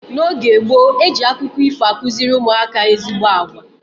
N'oge gboo, eji akụkọ ifo akụziri ụmụaka ezigbo agwa.